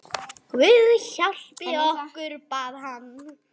Guð hjálpi okkur, bað hann.